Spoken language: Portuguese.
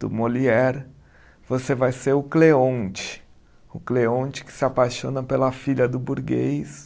do Molière, você vai ser o Cleonte, o Cleonte que se apaixona pela filha do burguês.